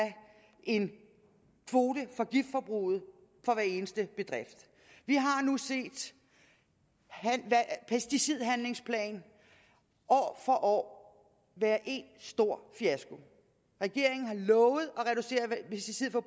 en kvote for giftforbruget for hver eneste bedrift vi har nu set pesticidhandlingsplaner år for år være en stor fiasko regeringen har lovet